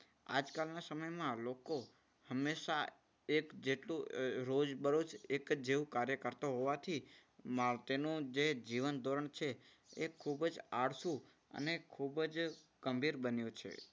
આજકાલના સમયમાં લોકો હંમેશા એ જેટલું રોજબરોજ એક જ જેવું કાર્ય કરતો હોવાથી તેનું જે જીવન ધોરણ છે એ ખૂબ જ આળસુ અને ખૂબ જ ગંભીર બન્યું છે.